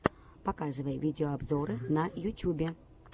показывай видеообзоры на ютюбе